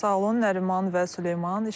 Çox sağ olun Nəriman və Süleyman.